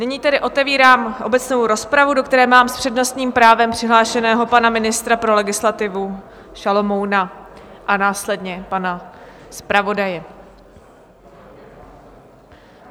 Nyní tedy otevírám obecnou rozpravu, do které mám s přednostním právem přihlášeného pana ministra pro legislativu Šalomouna a následně pana zpravodaje.